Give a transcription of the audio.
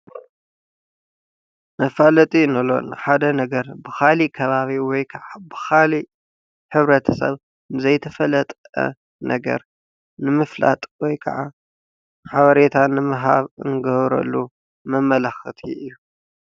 መፋለጢ እንብሎ ንሓደ ነገር ብካሊእ ከባቢ ወይከዓ ብካሊእ ሕብረተሰብ ንዘይተፈለጠ ነገር ንምፍላጥ ወይከዓ ሓበሬታ ንምሃብ እንገብረሉ መመላኸቲ እዩ።